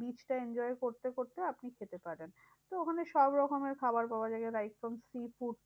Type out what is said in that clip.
beach টা enjoy করতে করতে আপনি খেতে পারেন। তো ওখানে সবরকমের খাবার পাওয়া যায়। rice cum sea food.